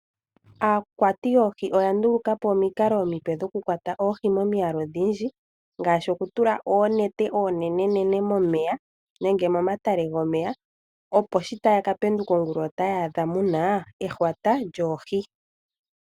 Aakwati yoohi oya nduluka po omikalo omipe dhokukwata oohi momiyalu odhindji. Ngaashi okutula oonete oonene nene momeya nenge momatale gomeya opo shi taya ka penduka ongula otaya adha muna ehwata lyoohi.